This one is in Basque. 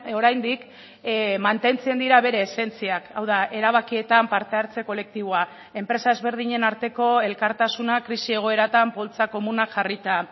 oraindik mantentzen dira bere esentziak hau da erabakietan parte hartze kolektiboa enpresa ezberdinen arteko elkartasuna krisi egoeratan poltsa komunak jarrita